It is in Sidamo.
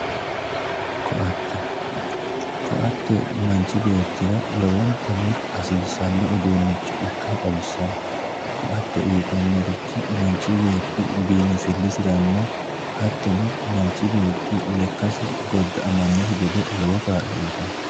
Koatte, koatte manchi beettira lowontanni hasiisano uduunicho ikkase xawisano, koatte uyittanorichi manchi beetti biinfilisiranna hattono manchi lekkasi goda'amanokki gede lowo kaa'lo uyittanno.